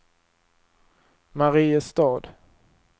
Mariestad